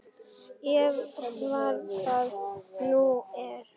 Eða hver það nú var.